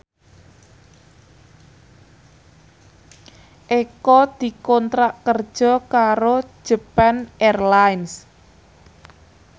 Eko dikontrak kerja karo Japan Airlines